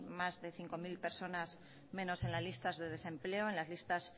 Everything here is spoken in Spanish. más de cinco mil personas menos en las listas de desempleo en las listas